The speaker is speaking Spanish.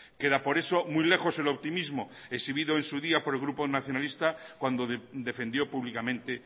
queda por eso muy lejos el optimismo exhibido en su día por el grupo nacionalista cuando defendió públicamente